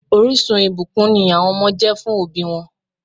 Orísun ìbùkún ni àwọn ọmọ jẹ́ fún òbí wọn